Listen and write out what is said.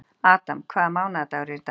Adam, hvaða mánaðardagur er í dag?